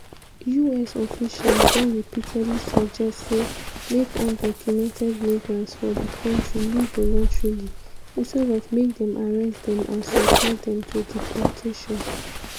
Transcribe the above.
us officials don repeatedly suggest say make undocumented migrants for di kontri leave voluntarily instead of make dem arrest dem and subject dem to deportation.